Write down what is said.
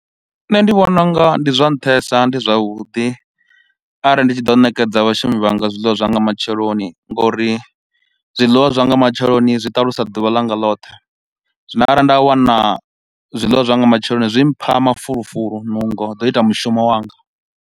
Nṋe ndi vhona unga ndi zwa nṱhesa, ndi zwavhuḓi arali ndi tshi ḓo ṋekedza vhashumi vhanga zwiḽiwa zwa nga matsheloni nga uri zwiḽiwa zwa nga matsheloni zwi ṱalusa ḓuvha ḽa nga ḽothe. Zwino arali nda wana zwiḽiwa zwa nga matsheloni, zwi mpha mafulufulu, nungo zwa u ita mushumo wanga.